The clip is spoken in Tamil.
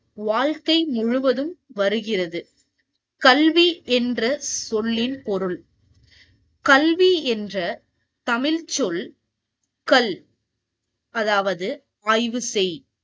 வாழ்கை முழுவதும் வருகிறது கல்வி என்ற சொல்லின் பொருள் கல்வி என்ற தமிழ் சொல் கல் அதாவது ஆய்வு செய்